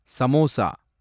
samosa